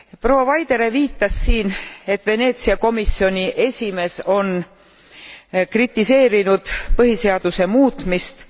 Proua Vaidere viitas siin, et Veneetsia komisjoni esimees on kritiseerinud põhiseaduse muutmist.